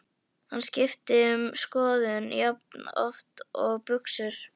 Hann skiptir um skoðun jafnoft og buxur.